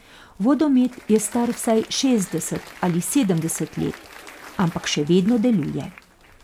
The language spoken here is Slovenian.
Vodomet je star vsaj šestdeset ali sedemdeset let, ampak še vedno deluje.